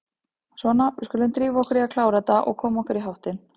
Svona, við skulum drífa okkur í að klára þetta og koma okkur í háttinn.